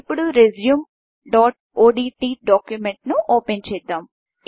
ఇప్పుడు resumeఓడ్ట్ డాక్యుమెంట్ను ఓపెన్చేద్దాం